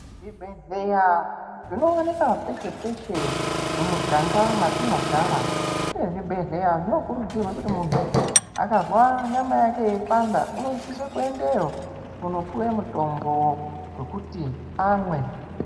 Zvibhedhlera zvinowanikwa peshe-peshe mumuganga mwatinogara uye zvibhedhlera zvinokurwadza kuti muntu akazwa nyama yake yeipanda unosise kuendeyo kunopiwe mutombo wekuti amwe.